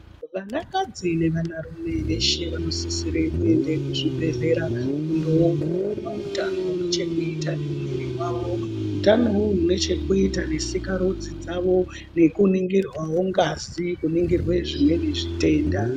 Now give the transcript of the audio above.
Vana kadzi ne vana rume veshe vano sisire kuende ku zvibhedhlera kundo ongororwa hutano hune chekuita ne mwiri wawo hutano hwohwo hune chekuita ne sikarudzi dzavo neku ningirwawo ngazi kuningirwe zvimweni zvitenda.